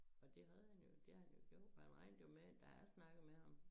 Og det havde han jo det har han jo gjort for han regnede jo med da jeg snakkede med ham